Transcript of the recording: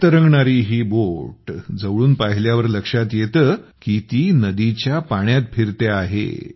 हवेत तरंगणारी ही बोट जवळून पाहिल्यावर लक्षात येते की ती नदीच्या पाण्यात फिरते आहे